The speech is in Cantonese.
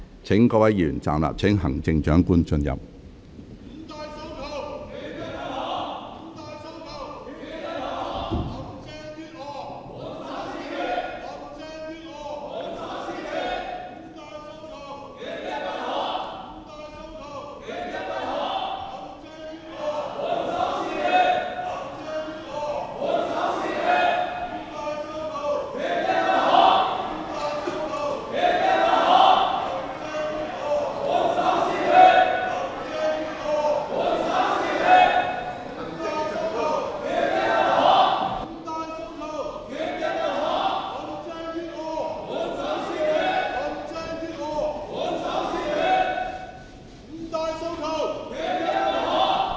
請各位議員站立，待行政長官進入會議廳。